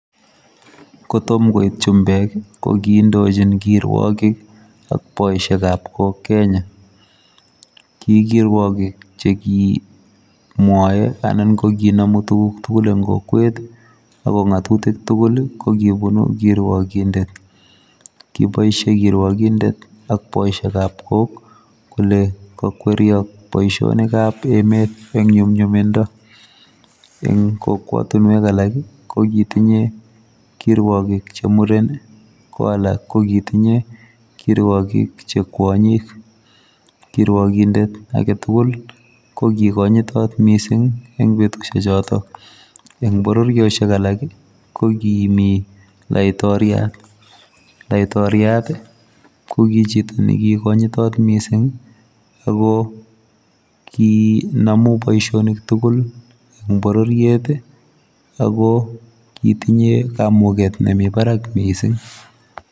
Korom koit chumbeek ii ko kindochiin kiruakik ak boisiet ab kook Kenya ,ki kiruakik che ki mwae anan ko kinamuu tuguuk tugul en kokwet ago ngatutiik tuguul ii ko kobunui kiruakindet ,kibaishe kiruakindet ak boisiet ab kook ii ole kakweriei boisiet ab emeet en nyumnyumindaa eng kokwatiinweek alaak ii ko kitinyei kiruarigik che Mureen ii ko alaak ko kitinyei kiruarigik che kwanyiik kiruakindet age tugul ko kanyitat missing en betusiek chotoon, eng bororiosheek alaak ii ko kimii laitoriat , laitoriat ii ko ki chito ne ki konyitaat missing ii ako kii ndamuun boisionik tugul eng borororiet ii ako kitinyei kamuget nemii baraak mising.